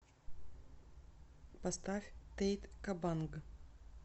поставь тэйт кобанг